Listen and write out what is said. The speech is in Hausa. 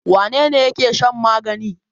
Wane ne yake shan magani?